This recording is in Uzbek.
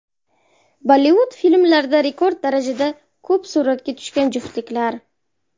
Bollivud filmlarida rekord darajada ko‘p suratga tushgan juftliklar .